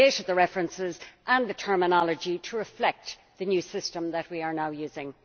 We have updated the references and the terminology to reflect the new system that we are now using.